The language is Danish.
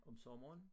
Om sommeren